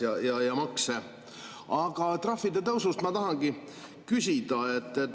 Trahvide tõusu ma tahangi küsida.